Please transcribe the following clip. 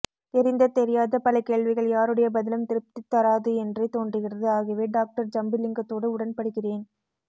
தெரிந்த தெரியாத பல கேள்விகள் யாருடைய பதிலும் திருப்தி தராது என்றே தோன்றுகிறது ஆகவே டாக்டர் ஜம்புலிங்கத்தோடு உடன் படுகிறேன்